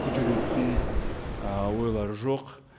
көтеретін ы ойлар жоқ